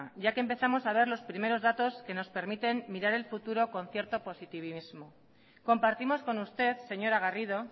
ya que empezamos a ver los primeros datos que nos permiten mirar el futuro con cierto positivismo compartimos con usted señora garrido